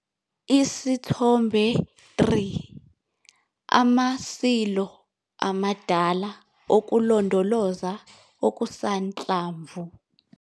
Isithombe 3- Ama-silo amadala okulondoloza okusanhlamvu.